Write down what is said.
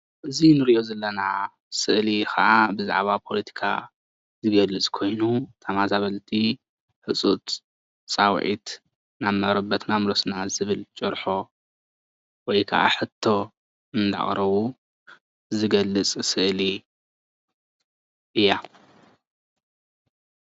እዚ ንርእዮ ዘለና ስእሊ ከዓ ብዛዕባ ፖለቲካ ዝገልፅ ኮይኑ ተመዛበልቲ ህፁፅ ፃውዒት ናብ መረበትና ምለሱና ዝብል ጭርሖ ወይ ከዓ ሕቶ እናቕረቡ ዝገልፅ ስእሊ እያ።